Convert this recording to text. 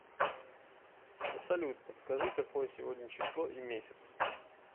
салют подскажи какое сегодня число и месяц